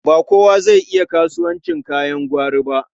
Ba kowa zai iya kasuwancin kayan gwari ba.